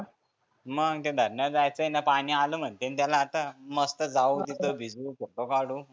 मग त्या धरनाला जायचं पाणि आलं म्हणते ना त्याला आता मस्त जाऊ तिथं भिजु फोटो काढु.